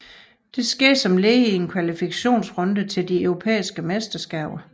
Dette skete som led i en kvalifikationsrunde til de europæiske mesterskaber